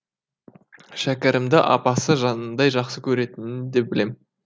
шәкәрімді апасы жанындай жақсы көретінін де білем